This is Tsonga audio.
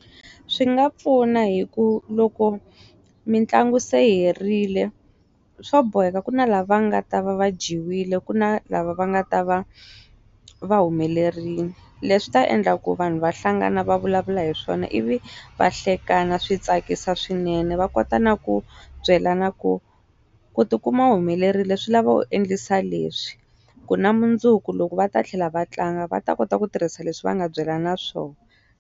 Swi nga pfuna hi ku loko mitlangu se herile swo boheka ku na lava nga ta va va jiwile ku na lava va nga ta va va humelerile leswi ta endla ku vanhu va hlangana va vulavula hi swona ivi va hlekana swi tsakisa swinene va kota na ku byelana ku ku tikuma humelerile swi lava u endlisa leswi ku na mundzuku loko va ta tlhela va tlanga va ta kota ku tirhisa leswi va nga byela na swona.